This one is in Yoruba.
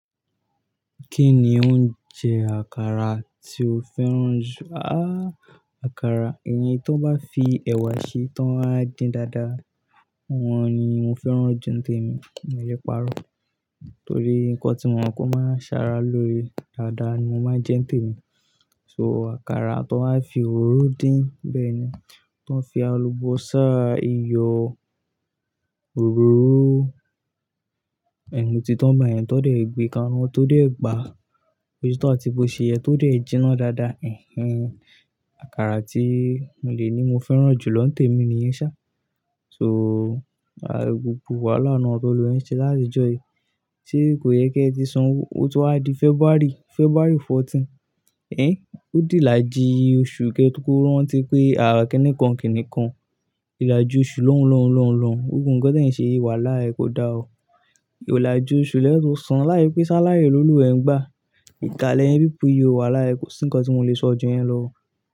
Kí ni ó ń jẹ àkàrà tí o fẹ́ràn jù? Àkàrà, iyen tí wọ́n bá fi ẹ̀wà ṣe tó ń wá dín dáadáa, wọ́n ni mo fẹ́ràn jù ní tèmi. Mio lẹ páárọ̀ torí nǹkan tí mo mọ̀ pé ó máa ń ṣàrà lóore dáadáa ni mo máa ń jẹ ní tèmi. So àkàrà tó ń wá fi òróró dín, bẹ́ẹ̀ ni. Tí wọ́n fi àlùbọ́sà, iyọ̀, òróró, ẹ̀mú ti tán ngbà yẹn tó dé gbé ka ina tó dé gbà, bóse tọ́ àti bó ṣe yẹ tó dé jìnnà dáadáa, ehen Àkàrà tí mo lè ní mo fẹ́ràn jù lọ ní tèmi ni iyẹn ṣá. So, gbogbo wàhálà náà tó le yẹn ṣe láti ìjọ yìí, ṣe kò yẹ kí ẹ ti sanwó? Ó tun wá di February, February fourteen. Ẹ́, ó dì láji oṣù kẹ́tò kóró ranti pé à kinìkan kì nìkan. Ìlàji oṣù lọ́hun lọ́hun lọ́hun lọ́hun. Gbogbo nǹkan tí ẹ̀ ń ṣe yi wàlàhi kò da ọ. Ìlàjú oṣù lẹ́tọ̀ san láise pé ṣáláry lólùwa ẹ ń gbà. Ìkà lẹ̀yin peoplé yi ò wàlàhi kò sí nǹkan tí mo lè sọ ju yẹn lọ o.